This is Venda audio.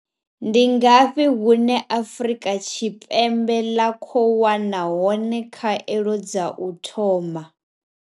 Ndi ngafhi hune Afrika Tshipembe ḽa khou wana hone a khou wana hone khaelo dza u thoma?